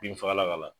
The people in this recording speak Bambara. Binfagalan kala